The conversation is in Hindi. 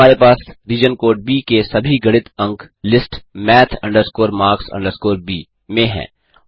अब हमारे पास रीजन ब के सभी गणित अंक लिस्ट math marks B में है